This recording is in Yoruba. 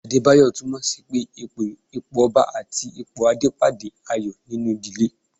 Adebayo tunmo sì pé ipò Ọba tàbí ipò Adé pàdé ayọ̀ nínú ìdílé.